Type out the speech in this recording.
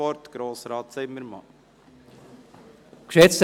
Wir führen eine freie Debatte.